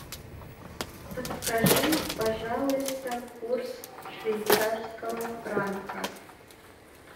подскажи пожалуйста курс швейцарского франка